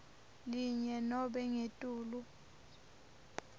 linye nobe ngetulu